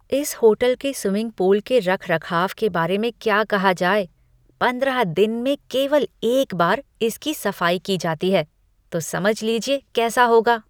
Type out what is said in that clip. इस होटल के swimming pool के रखरखाव के बारे में क्या कहा जाए, पंद्रह दिन में केवल एक बार इसकी सफाई की जाती है तो समझ लीजिए कैसा होगा!